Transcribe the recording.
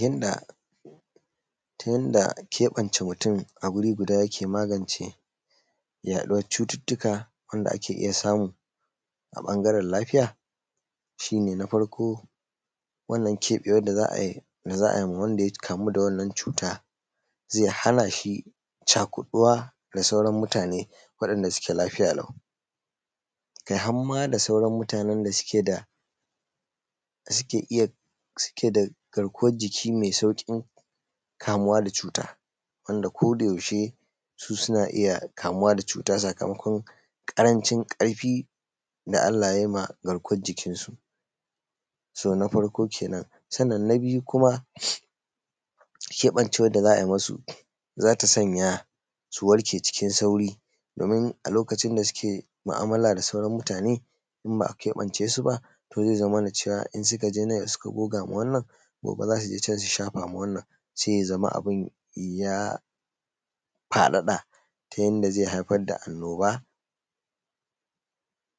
Ya:dda, ta yadda kebance mutum a wuri guda yake magance yaɗuwan cututtuka da ake iya samu a ɓangaren lafiya, shi ne na farko wannan keɓewan da za a yi ma wanda ya kamu da wannan cuta zai hana shi cakuɗuwa da sauran mutane wanɗanda suke lafiya lau, kai har ma da sauran mutanen da suke da garkuwan jiki mai sauƙin kamuwa da cuta, wanda kodayaushe, su suna iya kamuwa da cuta sakamakon ƙarancin ƙarfi da Allah ya yi ma garkuwan jikinsu. So na farko kenan, sannan na biyu kuma, shi keɓance wanda za a yi ma sa, za ta sanya su warke cikin sauri domin a lokacin da suke mu'amala da sauran mutane, in ba a kaɓance su ba, to zai zamana cewa in suka je nan suka shafa ma wannan, gobe za su je su shafa ma wannan sai ya zama abin ya faɗaɗa, ta yadda zai haifar da annoba